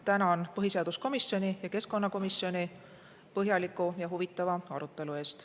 Tänan põhiseaduskomisjoni ja keskkonnakomisjoni põhjaliku ja huvitava arutelu eest.